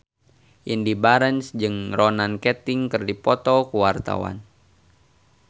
Indy Barens jeung Ronan Keating keur dipoto ku wartawan